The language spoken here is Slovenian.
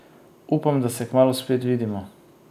Upam, da se kmalu spet vidimo!